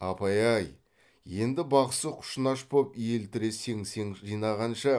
апай ай енді бақсы құшынаш боп елтірі сеңсең жинағанша